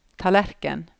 tallerken